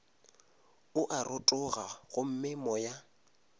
o a rotoga gomme moya